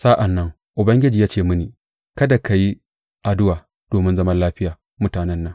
Sa’an nan Ubangiji ya ce mini, Kada ka yi addu’a domin zaman lafiyar mutanen nan.